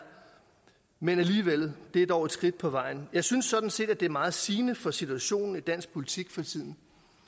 men alligevel det er dog et skridt på vejen jeg synes sådan set at det er meget sigende for situationen i dansk politik for tiden